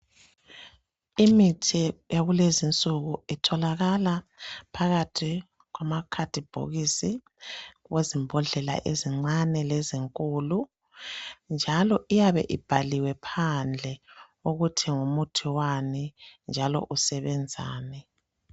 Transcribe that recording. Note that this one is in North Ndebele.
Imithi yakulezinsuku itholakala phakathi kwama khadibhokisi wezimbhodlela ezincane lezinkulu njalo iyabe ibhaliwe phandle ukuthi ngumuthi wani njalo usebenzani.